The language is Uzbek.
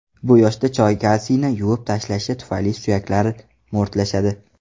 Bu yoshda choy kalsiyni yuvib tashlashi tufayli suyaklar mo‘rtlashadi.